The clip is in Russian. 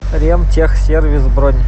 ремтехсервис бронь